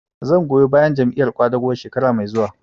Zan goyi bayan Jam'iyar ƙwadago shekara mai zuwa